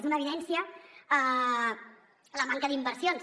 és una evidència la manca d’inversions